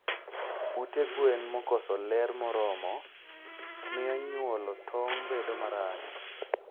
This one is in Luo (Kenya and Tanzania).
Ute gwen makoso ler moromo miyo nyuolo tong bedo marach